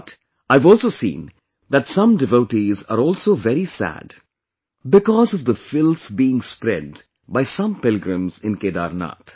But, I have also seen that some devotees are also very sad because of the filth being spread by some pilgrims in Kedarnath